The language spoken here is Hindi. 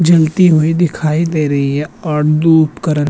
जलती हुई दिखाईं दे रही है और दू उपकरन।